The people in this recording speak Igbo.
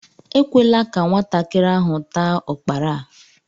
Ekwela ka nwatakịrị ahụ taa ukpara a!